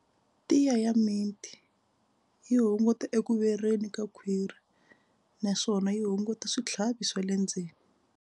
Tiya ya mint yi hunguta eku vereni ka khwiri naswona yi hunguta switlhavi swa le ndzeni.